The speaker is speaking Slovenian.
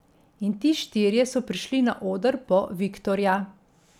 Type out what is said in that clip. In ti štirje so prišli na oder po viktorja.